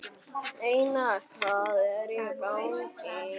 Einar, hvað hvað er í gangi?